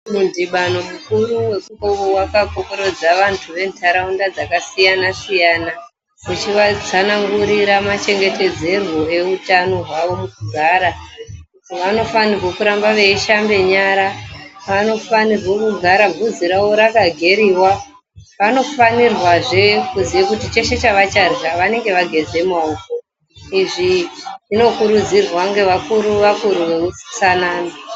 Midhibano mukuru wekuno wakakorokodza vantu ventaraunda dzakasiyana-siyana, uchivatsanangurira machengetedzerwo eutano hwawo mukugara. Vanofanirwo kuramba veishambe nyara. Vanofanirwe kugara vhudzi ravo rakageriwa. Vanofanirwazve kuziya kuti chese chavacharya vanenga vageza maoko. Izvi zvinokurudzirwa ngevakuru-vakuru veutsanana.